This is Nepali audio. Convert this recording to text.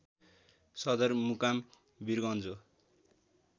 सदरमुकाम वीरगञ्ज हो